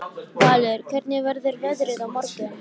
Valur, hvernig verður veðrið á morgun?